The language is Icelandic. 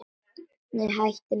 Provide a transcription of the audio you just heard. Nei, hættu nú alveg.